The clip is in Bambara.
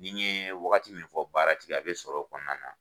Ni n ye wagati min fɔ baara tigɛ ye a bɛ sɔrɔ o kɔnɔna na.